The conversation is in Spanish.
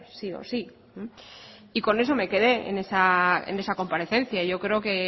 sí o sí y con eso me quedé en esa comparecencia yo creo que